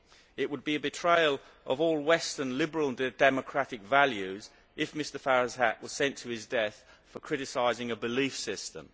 It would be a betrayal of all western liberal and democratic values if Mr Firasat was sent to his death for criticising a belief system.